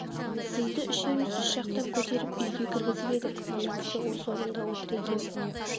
сізді үшеуміз үш жақтап көтеріп үйге кіргізіп едік мына кісі осы орында отыр екен